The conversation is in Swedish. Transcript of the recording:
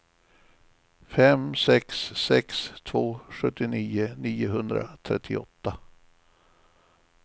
fem sex sex två sjuttionio niohundratrettioåtta